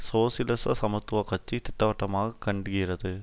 சோசியலிச சமத்துவக்கட்சி திட்டவட்டமாக கண்டுகிறது